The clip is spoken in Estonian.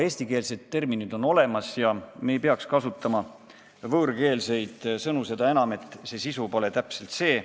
Eestikeelsed terminid on olemas ja me ei peaks kasutama võõrkeelseid sõnu, seda enam, et sisu pole täpselt sama.